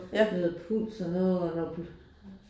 Noget puls og noget og noget